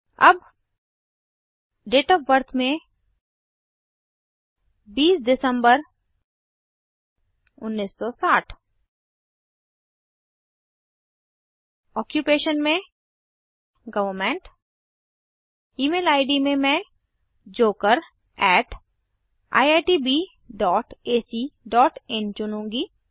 अब date of birth में 20 दिसंबर 1960 ऑक्यूपेश में गवर्नमेंट ईमेल इद में मैं jokeriitbacin चुनूँगी